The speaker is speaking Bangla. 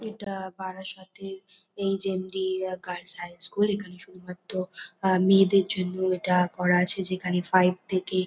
এটা-আ বারাসাততের H M D girls high school এখানে শুধুমাত্র মেয়েদের জন্য এটা করা আছে যেখানে ফাইভ থেকে --